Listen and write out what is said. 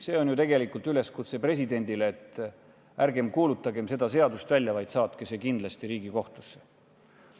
See on ju tegelikult üleskutse presidendile, et ärge kuulutage seda seadust välja, vaid saatke see kindlasti Riigikohtusse.